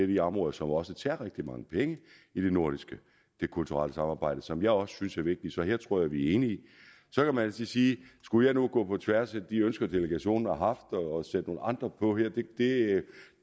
de områder som også tager rigtig mange penge i det nordiske samarbejde det kulturelle samarbejde som jeg også synes er vigtigt så her tror jeg vi er enige så kan man altid sige skulle jeg nu gå på tværs af de ønsker delegationen har haft og sætte nogle andre på her det